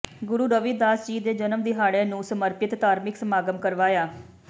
ਗੁਰੂ ਰਵਿਦਾਸ ਜੀ ਦੇ ਜਨਮ ਦਿਹਾੜੇ ਨੂੰ ਸਮਰਪਿਤ ਧਾਰਮਿਕ ਸਮਾਗਮ ਕਰਵਾਇਆ